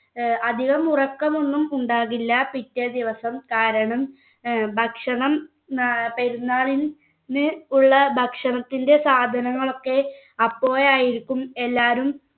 ഏർ അധികം ഉറക്കം ഒന്നും ഉണ്ടാകില്ല പിറ്റേദിവസം കാരണം ഏർ ഭക്ഷണം ഏർ പെരുന്നാളിന് ഉള്ള ഭക്ഷണത്തിൻ്റെ സാധനങ്ങൾ ഒക്കെ അപ്പോഴയായിരിക്കും എല്ലാവരും